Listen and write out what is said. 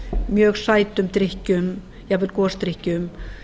mjög sætum drykkjum jafnvel gosdrykkjum